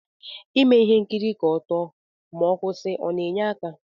Ime ihe nkiri ka otuo ma ọkwụsi ọna enye aka?